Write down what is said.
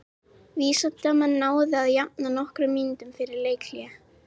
Víðismenn náðu að jafna nokkrum mínútum fyrir leikhlé.